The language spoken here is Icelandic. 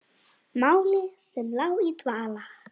Máli sem lá í dvala!